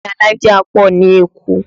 Ilé alájà pọ̀ ní Èkó